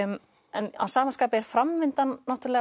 en að sama skapi er framvindan